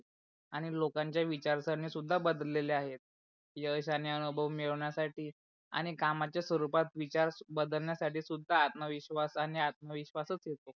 आणि लोकांच्या विचारसरणे सुद्धा बदलेले आहेत यश आणि अनुभव मिडवण्यासाठी आणि कामच्या स्वरूपात विचार बदलण्यासाठी सुद्धा आत्मविश्वाश आणि आत्मविश्वाशच येतो.